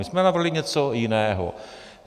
My jsme navrhli něco jiného.